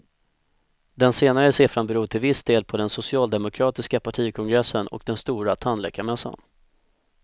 Den senare siffran beror till viss del på den socialdemokratiska partikongressen och den stora tandläkarmässan.